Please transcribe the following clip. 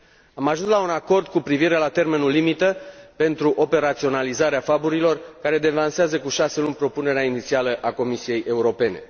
Am ajuns la un acord cu privire la termenul limită pentru operaționalizarea FAB care devansează cu șase luni propunerea inițială a Comisiei Europene.